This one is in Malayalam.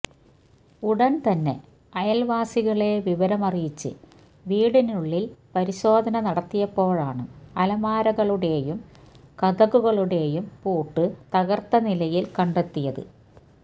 ഉടന് തന്നെ അയല്വാസികളെ വിവരമറിയിച്ച് വീടിനുള്ളില് പരിശോധന നടത്തിയപ്പോഴാണ് അലമാരകളുടെയും കതകുകളുടെയും പൂട്ട് തകര്ത്ത നിലയില് കണ്ടെത്തിയത്